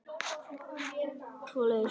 Svo leið nóttin.